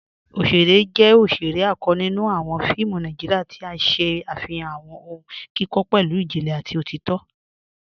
Ọ̀ṣẹ̀rẹ̀ jẹ́ ọ̀ṣẹ̀rẹ̀ àkọ́ nínú awọn fíìmù Nàìjíríà, tí n ṣẹ afihan awọn ọ̀hùn kíkọ pẹ̀lú ìjìnlẹ̀ àti òtìtọ̀.